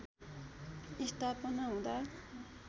स्थापना हुँदा